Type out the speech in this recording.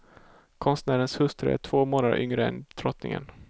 Konstnärens hustru är två månader yngre än drottningen.